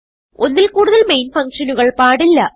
ഒന്നിൽ കൂടുതൽ മെയിൻ ഫങ്ഷനുകൾ പാടില്ല